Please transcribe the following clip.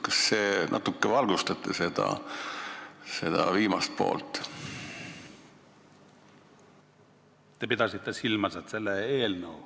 Kas te natuke valgustate seda viimast poolt?